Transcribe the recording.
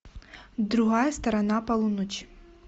другая сторона полуночи